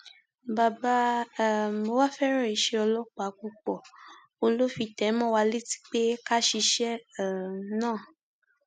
bàbá um wa fẹràn iṣẹ ọlọpàá púpọ òun ló fi ń tẹ ẹ mọ wa létí pé ká ṣiṣẹ um náà